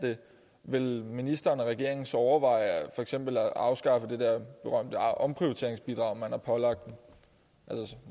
det vil ministeren og regeringen så overveje for eksempel at afskaffe det der berømte omprioriteringsbidrag man har pålagt dem